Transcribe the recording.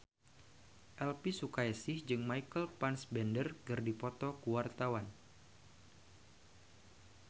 Elvi Sukaesih jeung Michael Fassbender keur dipoto ku wartawan